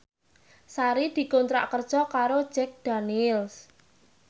Sari dikontrak kerja karo Jack Daniels